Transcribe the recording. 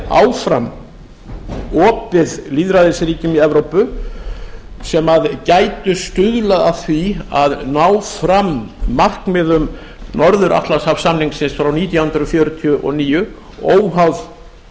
yrði áfram opið lýðræðisríkjum í evrópu sem gætu stuðlað að því að ná fram markmiðum norður atlantshafssamningsins frá nítján hundruð fjörutíu og níu óháð